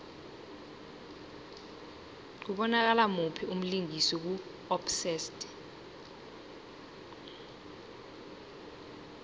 kubonakala muphi umlingisi ku obsessed